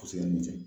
A bɛ se ka min kɛ